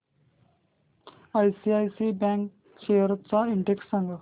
ICICI bank shares चा index सांगा